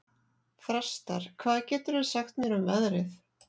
Þrastar, hvað geturðu sagt mér um veðrið?